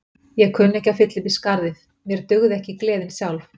Ég kunni ekki að fylla upp í skarðið, mér dugði ekki gleðin sjálf.